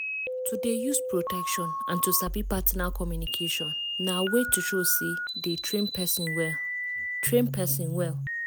to dey use protection and to sabi partner communication na way to show say dey train person well train person well